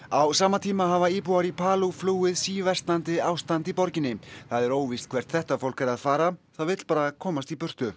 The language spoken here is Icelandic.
á sama tíma hafa íbúar í flúið síversnandi ástand í borginni það er óvíst hvert þetta fólk er að fara það vill bara komast í burtu